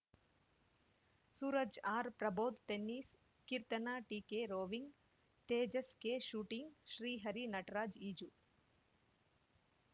Suraj ಆರ್ಪ್ರಬೋಧ್‌ಟೆನಿಸ್‌ Keerthana ಟಿಕೆರೋವಿಂಗ್‌ Tejas ಕೆಶೂಟಿಂಗ್‌ Srihari ನಟರಾಜ್‌ಈಜು